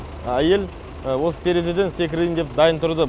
әйел осы терезеден секірейн деп дайын тұрды